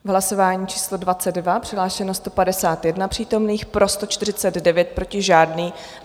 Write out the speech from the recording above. V hlasování číslo 22 přihlášeno 151 přítomných, pro 149, proti žádný.